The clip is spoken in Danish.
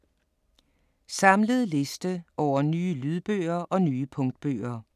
Samlet liste over nye lydbøger og nye punktbøger